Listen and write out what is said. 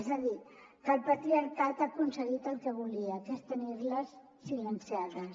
és a dir que el patriarcat ha aconseguit el que volia que és tenir les silenciades